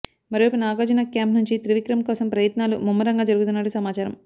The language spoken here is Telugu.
మరోవైపు నాగార్జున క్యాంప్ నుంచి త్రివిక్రమ్ కోసం ప్రయత్నాలు ముమ్మరంగా జరుగుతున్నట్టు సమాచారం